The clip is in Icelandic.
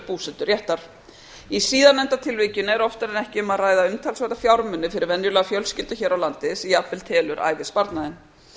búseturéttar í síðarnefnda tilvikinu er oftar en ekki um að ræða umtalsverða fjármuni fyrir venjulega fjölskyldu hér á landi sem jafnvel telur ævisparnaðinn